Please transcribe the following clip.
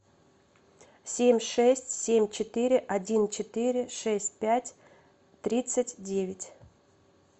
семь шесть семь четыре один четыре шесть пять тридцать девять